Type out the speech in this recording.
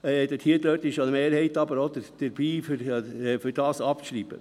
Hier ist die Mehrheit aber auch dabei, diesen abzuschreiben.